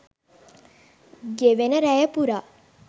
ගෙවෙන රැය පුරා